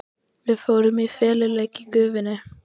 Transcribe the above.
Við fórum í feluleik í gufunni.